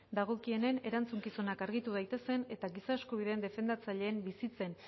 dagokienen erantzukizunak argitu daitezen eta giza eskubideen defendatzaileen bizitzen